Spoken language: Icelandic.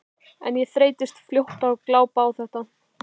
En ég þreyttist fljótt á að glápa á þetta.